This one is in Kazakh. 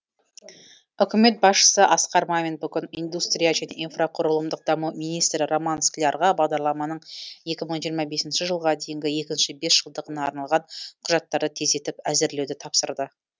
үкімет басшысы асқар мамин бүгін индустрия және инфрақұрылымдық даму министрі роман склярға бағдарламаның екі мың жиырма бесінші жылға дейінгі екінші бес жылдығына арналған құжаттарды тездетіп әзірлеуді тапсырды